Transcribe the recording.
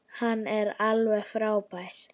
Hann er alveg frábær!